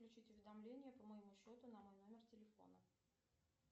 включить уведомления по моему счету на мой номер телефона